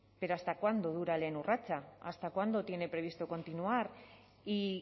pero hasta cuándo dura lehen urratsa hasta cuándo tiene previsto continuar y